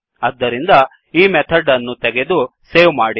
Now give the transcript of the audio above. ಆದ್ದರಿಂದ ಈ ಮೆಥಡ್ ಅನ್ನು ತೆಗೆದು ಸೇವ್ ಮಾಡಿ